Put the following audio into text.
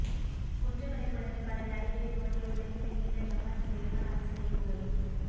குன்றுகளைக் குடைந்து கடலடியிலே தோண்டிய உலகிலே நீண்ட ஜப்பான் செய்கான் அதிசயக் குகை